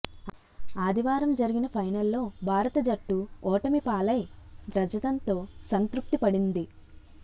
ఆదివారం జరిగిన ఫైనల్లో భారత జట్టు ఓటమి పాలై రజతంతో సంతృప్తి పడింది